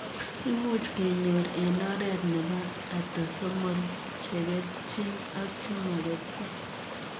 Imuch kenyor eng oreet nepo atosomol cheketchin ak chemaketchin.